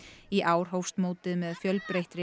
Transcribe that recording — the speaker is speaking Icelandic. í ár hófst mótið með fjölbreyttri